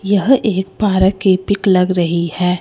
यह एक पार्क की पिक लग रही है।